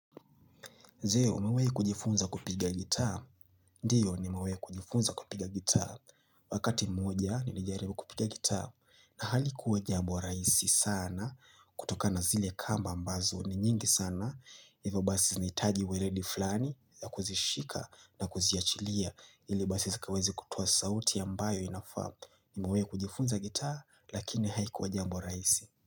Je, umewai kujifunza kupiga gitaa? Ndio, nimawai kujifunza kupiga gitaa. Wakati moja, nilijaribu kupiga gitaa. Na halikuwa jambo rahisi sana, kutokana zile kamba ambazo, ni nyingi sana. Hivyo basi zinitaji weredi fulani, ya kuzishika na kuziachilia, ili basi zikawezi kutuwa sauti ambayo inafamu. Nimawe kujifunza gitaa, lakini haikuwe kujifunza gitaa,